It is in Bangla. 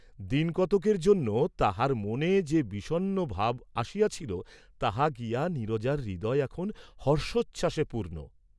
দিন কতকের জন্য তাহাব মনে যে বিষণ্ণ ভাব আসিয়াছিল তাহা গিয়া নীরজার হৃদয় এখন হর্ষোচ্ছ্বাসে পূর্ণ।